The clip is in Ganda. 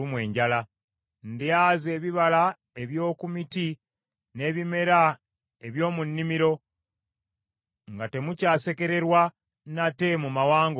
Ndyaza ebibala eby’oku miti n’ebimera eby’omu nnimiro, nga temukyasekererwa nate mu mawanga olw’enjala.